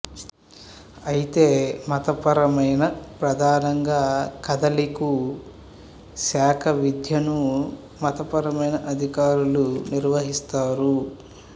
అయితే మతపరమైన ప్రధానంగా కాథలికు శాఖ విద్యను మతపరమైన అధికారులు నిర్వహిస్తారు